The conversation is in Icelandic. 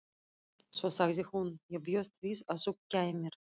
Svo sagði hún: Ég bjóst við að þú kæmir.